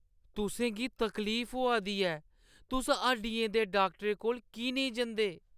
तुसें गी तकलीफ होआ दी ऐ। तुस हड्डियें दे डाक्टरै कोल की नेईं जंदे?